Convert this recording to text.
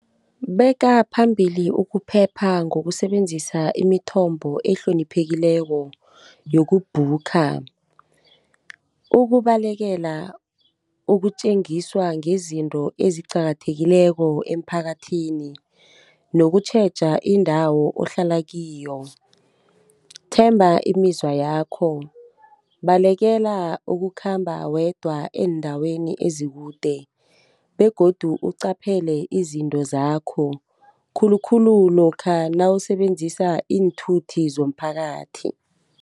Bekaphambili ukuphepha ngokusebenzisa imithombo ehloniphekileko yoku-booker. Ukubalekela ukutjengiswa ngezinto eziqakathekileko emphakathini, nokutjheja indawo ohlala kiyo. Themba imizwa yakho. Balekela ukukhamba wedwa eendaweni ezikude begodu uqaphele izinto zakho, khulukhulu lokha nawusebenzisa iinthuthi zomphakathi.